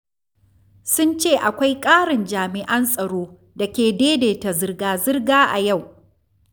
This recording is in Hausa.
12. Sun ce akwai ƙarin jami’an tsaro da ke daidaita zirga-zirga a yau.